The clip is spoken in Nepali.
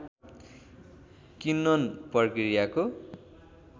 किन्वन प्रक्रियाको